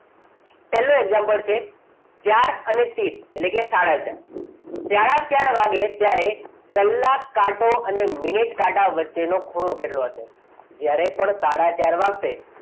પહેલું example છે ચાર અને ત્રીસ એટલે કે સાડા ચાર. સાડા ચાર વાગે ત્યારે કલાક કાંટો અને મિનિટ કાંટા વચ્ચેનો ખૂણો કેટલો હશે જ્યારે પણ સાડા ચાર વાગશે.